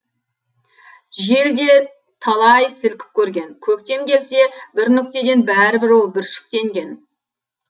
жел де талай сілкіп көрген көктем келсе бір нүктеден бәрібір ол бүршіктенген